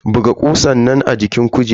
Buga kusan nan a jikin kujerar.